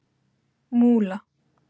Múla